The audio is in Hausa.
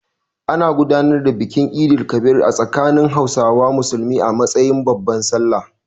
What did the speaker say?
An gudanar da bikin Eid el-Kabir a tsakanin Hausawa Musulmi a matsayin babbar Sallah.